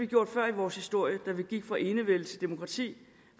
gjort før i vores historie da vi gik fra enevælden til demokratiet